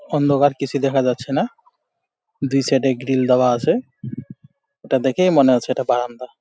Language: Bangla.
অন্ধকার কিছু দেখা যাচ্ছে না দুই সাইড -এ গ্রিল দেওয়া আছে। ওটা দেখেই মনে হচ্ছে এটা বারান্দা।